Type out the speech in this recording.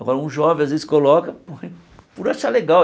Agora, um jovem, às vezes, coloca por achar legal.